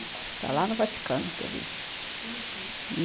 Está lá no Vaticano que eu vi, uhum.